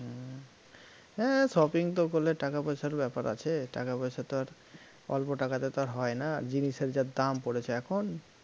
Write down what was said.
হ্যাঁ shopping তো করলে টাকা পয়সার ব্যাপার আছে, টাকা পয়সা তো আর অল্প টাকাতে তো আর হয়না, জিনিসের যা দাম পড়েছে এখন